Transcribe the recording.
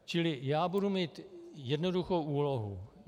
Čili já budu mít jednoduchou úlohu.